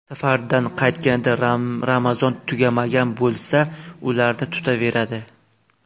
Safardan qaytganida Ramazon tugamagan bo‘lsa, ularni tutaveradi.